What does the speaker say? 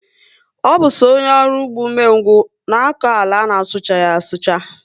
Ọ bu so ónyé ọrụ ụgbọ ume ngwu na akọ àlà ana suchaghi asucha